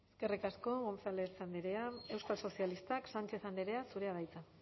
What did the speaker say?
eskerrik asko gonzález andrea euskal sozialistak sánchez andrea zurea da hitza